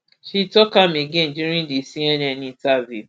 she tok am again during di cnn interview